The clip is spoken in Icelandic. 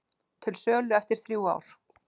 Til sölu eftir þrjú ár